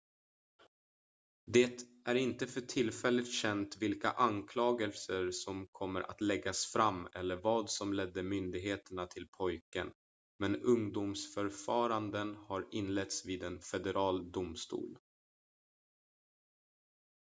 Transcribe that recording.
det är inte för tillfället känt vilka anklagelser som kommer att läggas fram eller vad som ledde myndigheterna till pojken men ungdomsförfaranden har inletts vid en federal domstol